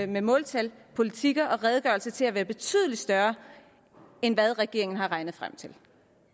med måltal politikker og redegørelser til at være betydelig større end hvad regeringen har regnet sig frem til